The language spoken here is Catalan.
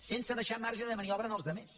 sense deixar marge de maniobra als altres